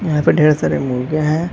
यहाँ पे ढ़ेर सारे मुर्गे है।